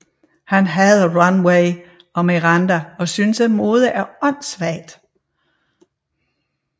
Han hader Runway og Miranda og synes at mode er åndsvagt